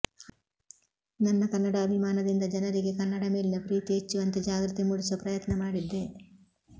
ನನ್ನ ಕನ್ನಡಾಭಿಮಾನದಿಂದ ಜನರಿಗೆ ಕನ್ನಡ ಮೇಲಿನ ಪ್ರೀತಿ ಹೆಚ್ಚುವಂತೆ ಜಾಗೃತಿ ಮೂಡಿಸುವ ಪ್ರಯತ್ನ ಮಾಡಿದ್ದೆ